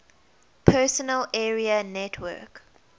personal area network